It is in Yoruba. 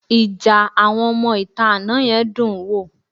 Ìjà àwọn ọmọ-ìta àná yẹn dún-ùn-ún wò